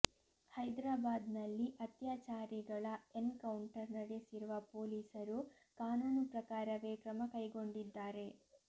ಹೈದ್ರಾಬಾದ್ನಲ್ಲಿ ಅತ್ಯಾಚಾರಿಗಳ encounter ನಡೆಸಿರುವ ಪೊಲೀಸರು ಕಾನೂನು ಪ್ರಕಾರವೇ ಕ್ರಮ ಕೈಗೊಂಡಿದ್ದಾರೆ